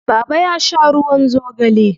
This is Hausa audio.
Baba ya sha ruwan zogale.